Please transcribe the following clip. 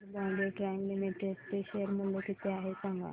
आज Bombay dyeing limited चे share मूल्य किती आहे सांगा